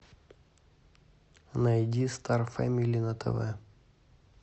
найди стар фэмили на тв